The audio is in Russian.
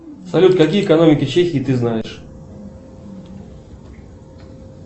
салют какие экономики чехии ты знаешь